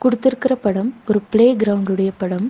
குடுத்திருக்குற படம் ஒரு playground உடைய படம்.